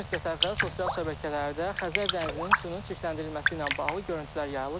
Bir müddət əvvəl sosial şəbəkələrdə Xəzər dənizinin suyunun çirkləndirilməsi ilə bağlı görüntülər yayılıb.